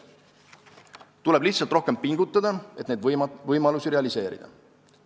Tuleb lihtsalt rohkem pingutada, et neid võimalusi realiseerida.